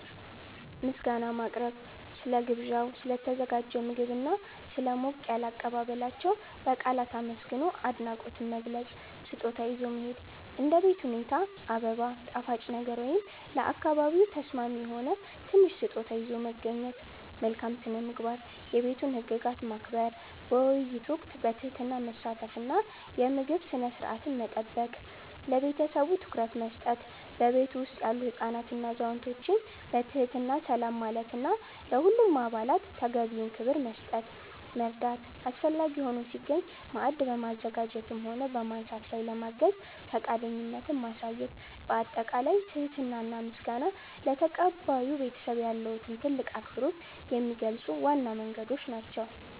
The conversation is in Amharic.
ምስጋና ማቅረብ፦ ስለ ግብዣው፣ ስለ ተዘጋጀው ምግብና ስለ ሞቅ ያለ አቀባበላቸው በቃላት አመስግኖ አድናቆትን መግለጽ። ስጦታ ይዞ መሄድ፦ እንደ ቤት ሁኔታ አበባ፣ ጣፋጭ ነገር ወይም ለአካባቢው ተስማሚ የሆነ ትንሽ ስጦታ ይዞ መገኘት። መልካም ስነ-ምግባር፦ የቤቱን ህግጋት ማክበር፣ በውይይት ወቅት በትህትና መሳተፍ እና የምግብ ስነ-ስርዓትን መጠበቅ። ለቤተሰቡ ትኩረት መስጠት፦ በቤቱ ውስጥ ያሉ ህፃናትንና አዛውንቶችን በትህትና ሰላም ማለትና ለሁሉም አባላት ተገቢውን ክብር መስጠት። መርዳት፦ አስፈላጊ ሆኖ ሲገኝ ማዕድ በማዘጋጀትም ሆነ በማንሳት ላይ ለማገዝ ፈቃደኝነትን ማሳየት። ባጠቃላይ ትህትና እና ምስጋና ለተቀባዩ ቤተሰብ ያለዎትን ትልቅ አክብሮት የሚገልጹ ዋና መንገዶች ናቸው።